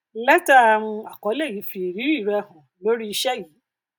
lẹtà um àkọlé yóò fi ìrírí rẹ hàn lórí iṣẹ yìí